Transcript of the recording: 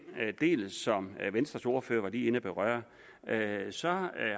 del som venstres ordfører lige var inde at berøre